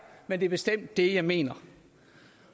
men det er bestemt det jeg mener